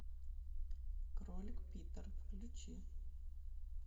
кролик питер включи